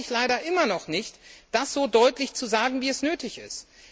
Sie trauen sich leider immer noch nicht, das so deutlich zu sagen, wie es nötig ist.